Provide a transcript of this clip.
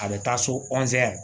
A bɛ taa so